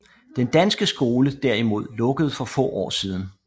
Den lokale danske skole derimod lukkede for få år siden